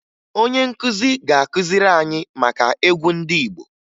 Onye nkụzi ga-akụziri anyị maka egwu ndị Igbo